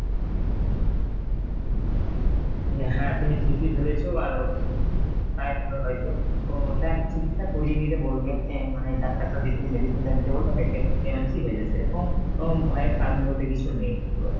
হ্যাঁ তুমি ঠিকই ধরেছ আর ওর হয়তো তা একটা চিকিৎসা করিয়ে নিতে বলবে অ্যাঁ মানে, ডাক্তার-টাক্তার দেখিয়ে medicine টা নিতে বলবে, দেখবে অ্যাঁ মানে ঠিক হয়ে যাবে সেরকম ওম ভয়ের কারণ বলতে কিছু নেই খুব একটা।